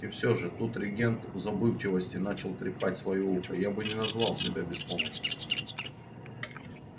и все же тут регент в забывчивости начал трепать своё ухо я бы не назвал себя беспомощным